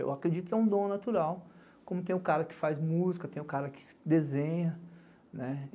Eu acredito que é um dom natural, como tem o cara que faz música, tem o cara que desenha, né?